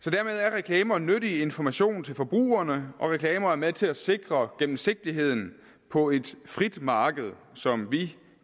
reklamer nyttig information til forbrugerne og reklamer er med til at sikre gennemsigtigheden på et frit marked som vi